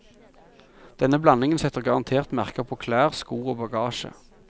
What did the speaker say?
Denne blandingen setter garantert merker på klær, sko og bagasje.